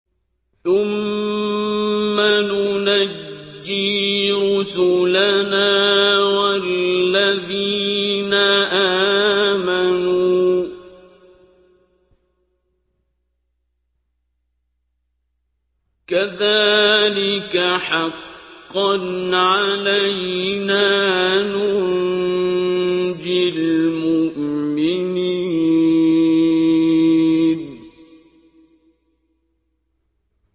ثُمَّ نُنَجِّي رُسُلَنَا وَالَّذِينَ آمَنُوا ۚ كَذَٰلِكَ حَقًّا عَلَيْنَا نُنجِ الْمُؤْمِنِينَ